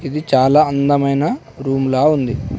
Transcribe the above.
ఇది చాలా అందమైన రూమ్లా ఉంది.